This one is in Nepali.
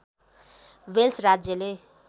वेल्स राज्यले